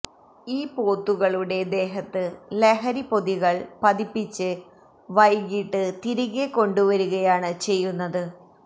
ഈ പോത്തുകളുടെ ദേഹത്ത് ലഹരി പൊതികള് പതിപ്പിച്ച് വൈകിട്ട് തിരികെ കൊണ്ടുവരികയാണ് ചെയ്യുന്നത്